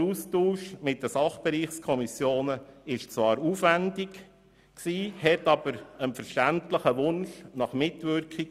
Zwar war der Austausch mit den Fachbereichsdirektionen aufwändig, diente aber dem Wunsch nach Mitwirkung.